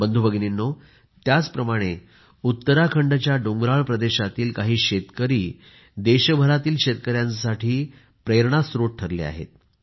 बंधूभगिनींनो त्याचप्रमाणे उत्तराखंडच्या डोंगराळ प्रदेशातील काही शेतकरी देशभरातील शेतकऱ्यांसाठी प्रेरणास्त्रोत ठरले आहेत